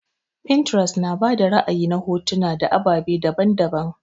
Pinterest na bada ra'ayi na hotuna na ababe daban-daban.